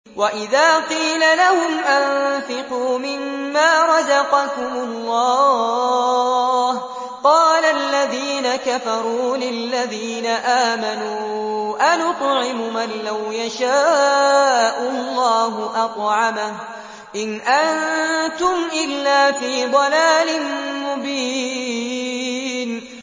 وَإِذَا قِيلَ لَهُمْ أَنفِقُوا مِمَّا رَزَقَكُمُ اللَّهُ قَالَ الَّذِينَ كَفَرُوا لِلَّذِينَ آمَنُوا أَنُطْعِمُ مَن لَّوْ يَشَاءُ اللَّهُ أَطْعَمَهُ إِنْ أَنتُمْ إِلَّا فِي ضَلَالٍ مُّبِينٍ